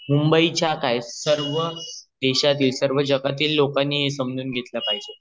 मुंबई च्या काय सर्व देशातील सर्व जगातील लोकांनी हे सजून घेतले पाहिजे